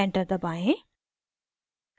enter दबाएं